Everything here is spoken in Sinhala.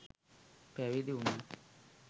පැවිදි වුණා.